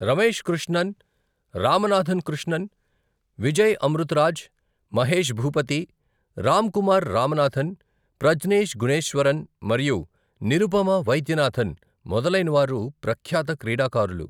రమేష్ కృష్ణన్, రామనాథన్ కృష్ణన్, విజయ్ అమృతరాజ్, మహేష్ భూపతి, రామ్కుమార్ రామనాథన్, ప్రజ్నేష్ గుణేశ్వరన్ మరియు నిరుపమ వైద్యనాథన్ మొదలైనవారు ప్రఖ్యాత క్రీడాకారులు